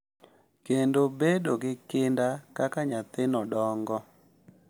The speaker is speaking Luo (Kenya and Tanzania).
Kendo bedo gi kinda kaka nyathino dongo.